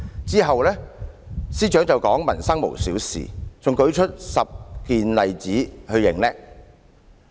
"之後司長亦說"民生無小事"，還列舉10個例子逞強。